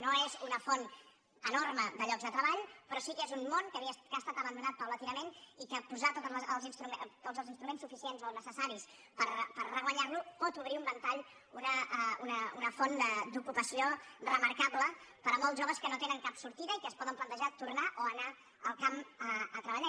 no és una font enorme de llocs de treball però sí que és un món que ha estat abandonat progressivament i posar els instruments suficients o necessaris per reguanyar lo pot obrir un ventall una font d’ocupació remarcable per a molts joves que no tenen cap sortida i que es poden plantejar tornar o anar al camp a treballar